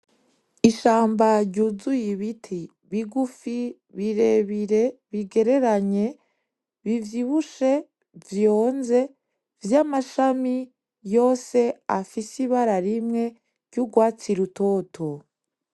Ishamba ryuzuye ibiti bigufi birebire, bigereranye, bivyibushe, vyonze vy’amashami yose afise ibara rimwe ry’urwatsi rutoto.